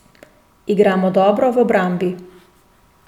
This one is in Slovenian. Igramo dobro v obrambi.